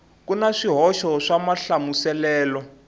ku na swihoxo swa mahlamuselelo